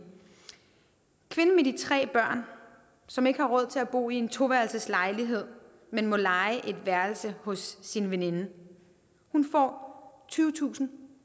kvinden med de tre børn som ikke har råd til at bo i en toværelseslejlighed men må leje et værelse hos sin veninde får tyvetusinde og